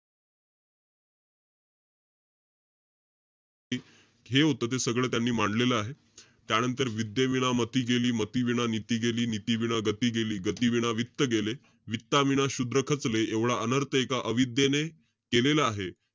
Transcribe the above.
ती. जे होतं ते सगळं त्यांनी मांडलेलं आहे. त्यानंतर विद्येविना मती गेली, मतिविना नीती गेली, नीतिविना गती गेली, गतिविना वित्त गेले, वित्ताविना शूद्र खचले, एवढा अनर्थ एका अविद्येने केलेला आहे.